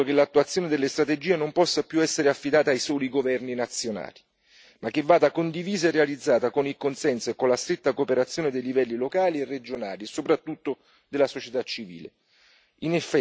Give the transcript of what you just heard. Siamo d'accordo che l'attuazione delle strategie non può più essere affidata ai soli governi nazionali ma va condivisa e realizzata con il consenso e con la stretta cooperazione dei livelli locali, regionali e soprattutto della società civile.